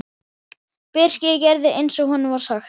Birkir gerði eins og honum var sagt.